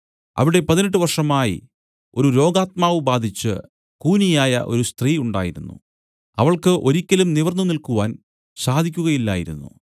അവിടെ പതിനെട്ട് വർഷമായി ഒരു രോഗാത്മാവു ബാധിച്ച് കൂനിയായ ഒരു സ്ത്രീ ഉണ്ടായിരുന്നു അവൾക്ക് ഒരിയ്ക്കലും നിവർന്നു നിൽക്കുവാൻ സാധിക്കുകയില്ലായിരുന്നു